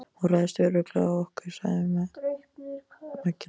Hún ræðst örugglega á okkur, sagði Maggi Lóu.